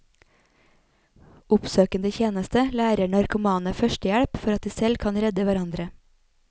Oppsøkende tjeneste lærer narkomane førstehjelp for at de selv kan redde hverandre.